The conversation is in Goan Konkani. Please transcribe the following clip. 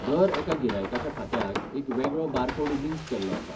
दर एका गिरायकाच्या खात्याक एक वेगळो बारकोड लिंक केल्लो आसा.